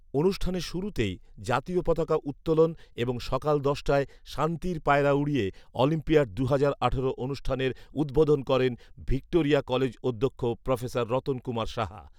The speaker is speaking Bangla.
অনুষ্ঠানের শুরুতেই জাতীয় পতাকা উত্তোলন এবং সকাল দশটায় শান্তির পায়রা উড়িয়ে অলিম্পিয়াড দুহাজার আঠারো অনুষ্ঠানের উদ্বোধন করেন ভিক্টোরিয়া কলেজ অধ্যক্ষ প্রফেসর রতন কুমার সাহা